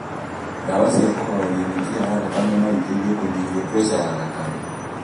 Ndawa cia kũhoreria mĩkiha ya thakame noiteithie kũnyihia preca ya thakame